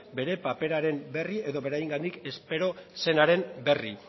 bere paperaren berri edo beraiengandik espero zenaren berri